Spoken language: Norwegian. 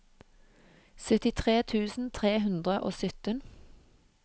syttitre tusen tre hundre og sytten